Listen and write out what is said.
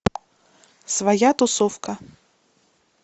своя тусовка